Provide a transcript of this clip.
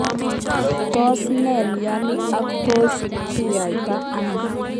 Tos ne mnyeni ak tos kinyaita ano?